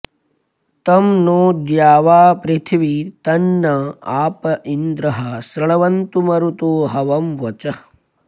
तं नो द्यावापृथिवी तन्न आप इन्द्रः शृण्वन्तु मरुतो हवं वचः